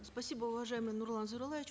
спасибо уважаемый нурлан зайроллаевич